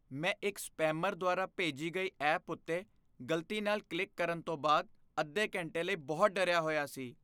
ਮੈਂ ਇੱਕ ਸਪੈਮਰ ਦੁਆਰਾ ਭੇਜੀ ਗਈ ਐਪ ਉੱਤੇ ਗ਼ਲਤੀ ਨਾਲ ਕਲਿੱਕ ਕਰਨ ਤੋਂ ਬਾਅਦ ਅੱਧੇ ਘੰਟੇ ਲਈ ਬਹੁਤ ਡਰਿਆ ਹੋਇਆ ਸੀ।